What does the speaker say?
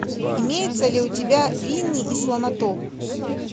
имеется ли у тебя винни и слонотоп